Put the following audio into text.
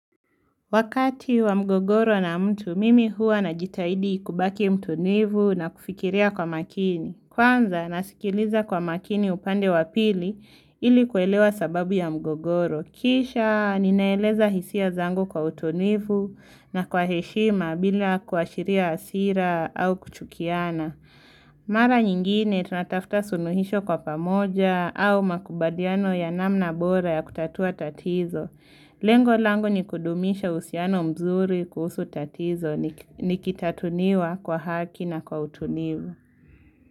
Wakati wa mgogoro na mtu, mimi hua najitahidi kubaki mtu nivu na kufikiria kwa makini. Kwanza, nasikiliza kwa makini upande wapili ili kuelewa sababu ya mgogoro. Kisha, ninaeleza hisia zangu kwa utulivu na kwa heshima bila kuashiria hasira au kuchukiana. Mara nyingine, tunatafuta suluhisho kwa pamoja au makubaliano ya namna bora ya kutatua tatizo. Lengo langu ni kudumisha husiano mzuri kuhusu tatizo ni kitatuniwa kwa haki na kwa utunivu.